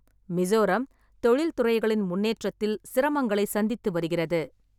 மிசோரம் தொழில்துறைகளின் முன்னேற்றத்தில் சிரமங்களைச் சந்தித்து வருகிறது.